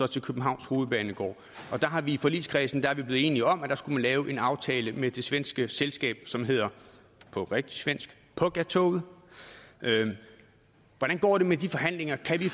københavns hovedbanegård i forligskredsen er vi blevet enige om at der skulle man lave en aftale med det svenske selskab som hedder på rigtig svensk pågatåget hvordan går det med de forhandlinger kan vi